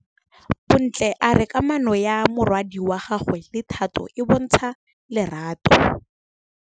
Bontle a re kamanô ya morwadi wa gagwe le Thato e bontsha lerato.